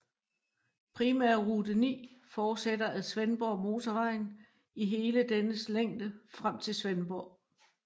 Primærrute 9 fortsætter ad Svendborgmotorvejen i hele dennes længde frem til Svendborg